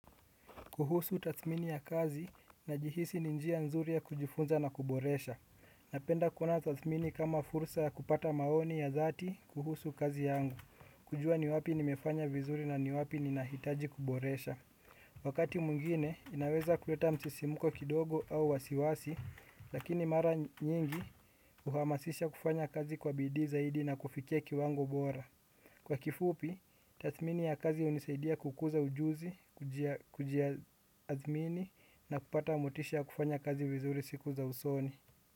Kuhusu tathmini ya kazi najihisi ni njia nzuri ya kujifunza na kuboresha. Napenda kuona tathmini kama fursa kupata maoni ya dhati kuhusu kazi yangu. Kujua ni wapi nimefanya vizuri na ni wapi ni nahitaji kuboresha. Wakati mwingine, inaweza kuleta msisimuko kidogo au wasiwasi, lakini mara nyingi uhamasisha kufanya kazi kwa bidii zaidi na kufikia kiwango bora. Kwa kifupi, tathmini ya kazi hunisaidia kukuza ujuzi, kujiaathmini na kupata motisha ya kufanya kazi vizuri siku za usoni.